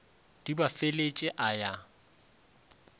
di ba feletše a ya